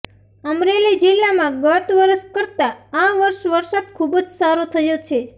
અમરેલી જિલ્લામાં ગત વર્ષ કરતા આ વર્ષે વરસાદ ખૂબ જ સારો થયો છે